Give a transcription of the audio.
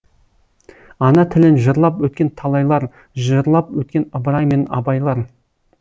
ана тілін жырлап өткен талайлар жырлап өткен ыбырай мен абайлар